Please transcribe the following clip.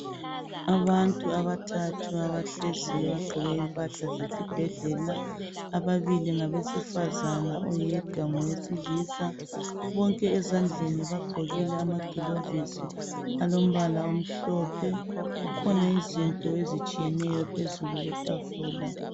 Abantu abathathu abahleziyo begqoke impahla zesibhedlela. Ababili ngabesifazane, oyedwa ngowesilisa .Bonke ezandleni bagqokile amagilovisi alombala omhlophe. Kukhona izinto ezitshiyeneyo phezulu kwetafula.